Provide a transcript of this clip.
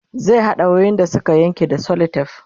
zai haɗa wayoyin da Suka Yanke da selotef